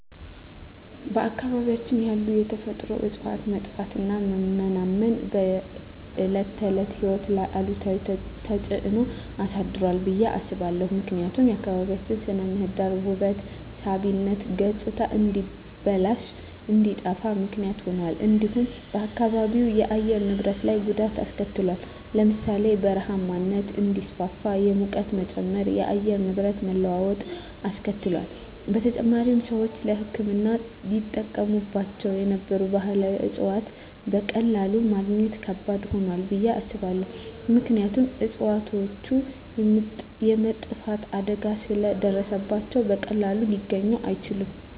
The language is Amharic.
በአካባቢያችን ያሉ የተፈጥሮ እፅዋት መጥፋትና መመናመን በዕለት ተዕለት ሕይወት ላይ አሉታዊ ተጽዕኖ አሳድሯል ብየ አስባለሁ። ምክንያቱም የአካባቢያችን ስነ ምህዳር ውበት ሳቢነት ገፅታ እንዲበላሽ እንዲጠፋ ምክንያት ሁኗል። እንዲሁም በአካባቢው የአየር ንብረት ላይ ጉዳት አሰከትሏል ለምሳሌ ( በረሃማነት እንዲስፋፋ፣ የሙቀት መጨመር፣ የአየር ንብረት መለዋወጥ አስከትሏል። በተጨማሪም፣ ሰዎች ለሕክምና ይጠቀሙባቸው የነበሩ ባህላዊ እፅዋትን በቀላሉ ማግኘት ከባድ ሆኗል ብየ አስባለሁ። ምክንያቱም እፅዋቶቹ የመጥፋት አደጋ ስለ ደረሰባቸው በቀላሉ ሊገኙ አይችሉም።